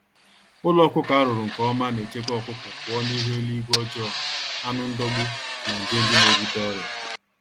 Ụlọ ọkụkọ arụrụ nke ọma nechekwa ọkụkọ pụọ n'ihu eluigwe ọjọọ, anụ ndọgbu na nje ndị n'ebute ọrịa